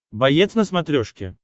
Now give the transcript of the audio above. боец на смотрешке